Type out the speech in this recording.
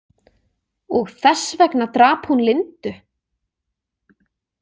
Og þess vegna drap hún Lindu?